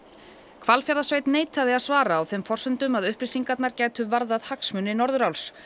Hvalfjarðarsveit neitaði að svara á þeim forsendum að upplýsingarnar gætu varðað hagsmuni Norðuráls